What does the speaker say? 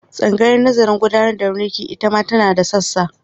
Tsangayar nazarin gudanar da mulki ita ma tana da sassa.